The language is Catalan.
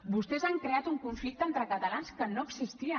vostès han creat un conflicte entre catalans que no existia